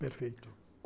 Perfeito.